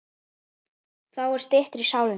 Þá er styttra í sálina.